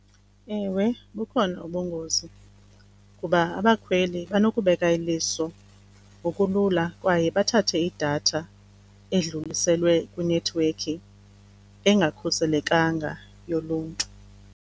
Ewe bukhona ubungozi kuba abakhweli banokubeka iliso ngokulula kwaye bathathe idatha edluliselwe kwinethiwekhi engakhuselekanga yoluntu.